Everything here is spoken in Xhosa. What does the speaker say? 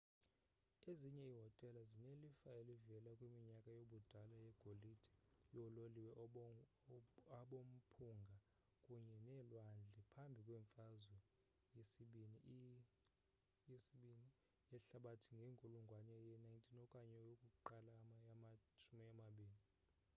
ezinye iihotele zinelifa elivela kwiminyaka yobudala yegolide yoololiwe abomphunga kunye nelwandle; phambi kwemfazwe yesibini ii yehlabathi ngenkulungwane ye-19 okanye yokuqala yama-20